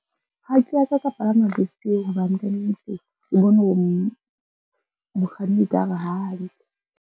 Ha ke a ka ka palama bese e hobane ka nnete ke bone hore mokganni e ka re ha hantle.